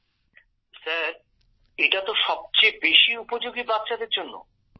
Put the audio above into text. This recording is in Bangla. গৌরব স্যার এটা তো সবচেয়ে বেশি উপযোগী বাচ্চাদের জন্য